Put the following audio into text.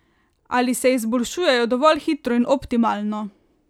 Ali se izboljšujejo dovolj hitro in optimalno?